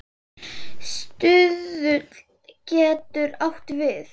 Stuðull getur átt við